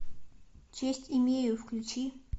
честь имею включи